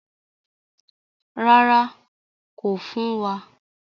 Rárá, kò fún wa.